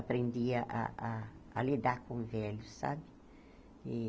Aprendi a a a lidar com velhos, sabe?